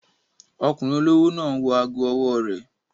Ọkùnrin olówó náà n wọ ago ọwọ́ rẹ̀